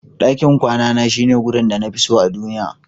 Dakin kwana Na shine wurin da na fi so a duniya.